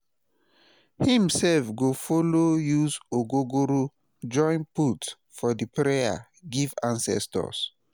him sef go follow use ogogoro join put for di prayer giv ancestors